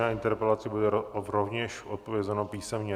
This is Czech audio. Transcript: Na interpelaci bude rovněž odpovězeno písemně.